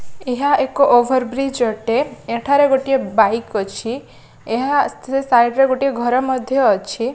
ଏହା ଏକ ଓଭରବ୍ରିଜ ଅଟେ ଏଠାରେ ଗୋଟିଏ ବାଇକ୍ ଅଛି ଏହା ସେ ସାଇଡ ରେ ଗୋଟିଏ ଘର ମଧ୍ଯ ଅଛି।